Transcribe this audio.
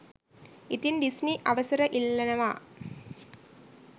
ඉතින් ඩිස්නි අවසර ඉල්ලනවා